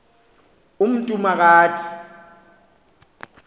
umntu ma kathi